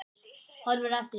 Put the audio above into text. Horfir á eftir